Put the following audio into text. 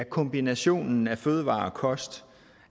kombinationen af fødevarer og kost